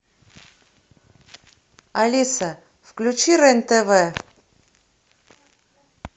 алиса включи рен тв